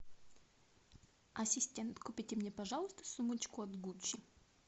ассистент купите мне пожалуйста сумочку от гуччи